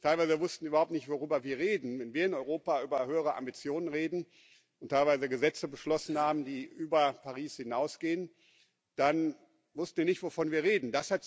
Teilweise wussten die überhaupt nicht, worüber wir reden, wenn wir in Europa über höhere Ambitionen reden und teilweise Gesetze beschlossen haben, die über Paris hinausgehen, dann wussten die nicht, wovon wir reden.